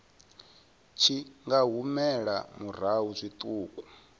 tshi nga humela murahu zwiṱuku